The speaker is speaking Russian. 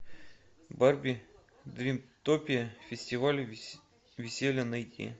барби дримтопия фестиваль веселья найти